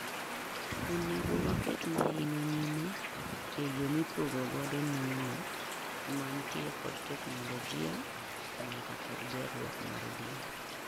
Onego waket mahino nyime eyoo mipogo godo nueng'o mantie kod teknologia nyaka kod gerruok mar duol